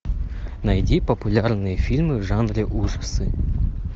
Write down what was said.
найди популярные фильмы в жанре ужасы